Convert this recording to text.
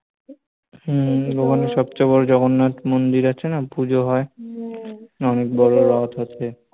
হম ওখানে সবচেয়ে বড় জগন্নাথ মন্দির আছে না, পূজো হয় অনেক বড় রথ আছে